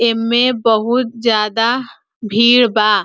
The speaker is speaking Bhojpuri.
एमे बहुत ज्यादा भीड़ बा।